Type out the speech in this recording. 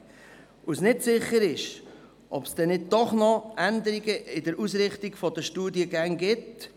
Es ist nicht sicher, ob es nicht doch noch Änderungen in der Ausrichtung der Studiengänge gibt.